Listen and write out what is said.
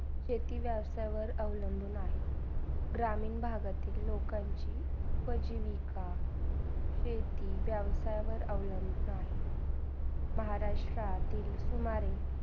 शेती व्यवसावर अवलंबून आहे. ग्रहमीन भागातील लोकांची म्हणजे विका शेती व्यवसावर अवलंबुन आहे. महाराष्ट्रातील